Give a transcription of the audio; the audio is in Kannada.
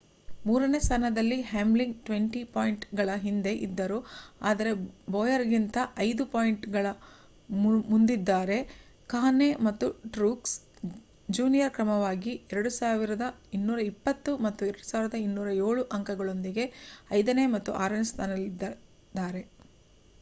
ಮೂರನೇ ಸ್ಥಾನದಲ್ಲಿ ಹ್ಯಾಮ್ಲಿನ್ 20 ಪಾಯಿಂಟ್‌ಗಳ ಹಿಂದೆ ಇದ್ದರು ಆದರೆ ಬೋಯರ್‌ಗಿಂತ 5 ಪಾಯಿಂಟ್‌ಗಳ ಮುಂದಿದ್ದಾರೆ. ಕಾಹ್ನೆ ಮತ್ತು ಟ್ರೂಕ್ಸ್ ಜೂನಿಯರ್ ಕ್ರಮವಾಗಿ 2,220 ಮತ್ತು 2,207 ಅಂಕಗಳೊಂದಿಗೆ ಐದನೇ ಮತ್ತು ಆರನೇ ಸ್ಥಾನದಲ್ಲಿದ್ದಾರೆ